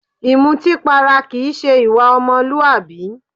Ìmútípara kìí se ìwà ọmọlúwàbí.